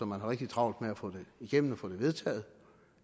man har rigtig travlt med at få det igennem og få det vedtaget